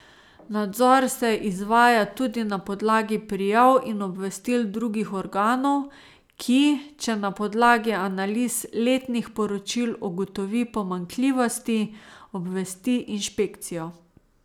Nadzor se izvaja tudi na podlagi prijav in obvestil drugih organov, ki, če na podlagi analiz letnih poročil ugotovi pomanjkljivosti, obvesti inšpekcijo.